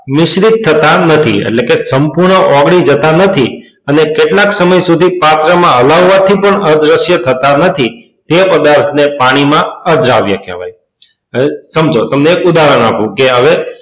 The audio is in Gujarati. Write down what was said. મિશ્રિત થતા નથી એટલે કે સંપૂર્ણ ઓગળી જતા નથી અને કેટલાક સમય સુધી પાત્રમાં હલાવવાથી પણ અદ્રશ્ય થતા નથી તે પદાર્થને પાણીમાં અદ્રાવ્ય કહેવાય છે. સમજો તમને એક ઉદાહરણ આપો કે,